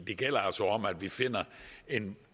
det gælder altså om at vi finder en